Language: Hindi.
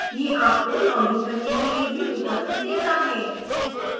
यह आपको लॉग इन करने के लिए भी विकल्प देता है